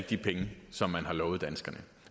de penge som man har lovet danskerne